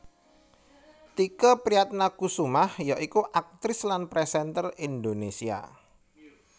Tike Priatnakusumah ya iku aktris lan présènter Indonésia